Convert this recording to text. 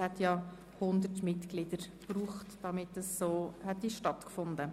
Es wären 100 Mitglieder nötig gewesen, um eine Volksabstimmung erforderlich zu machen.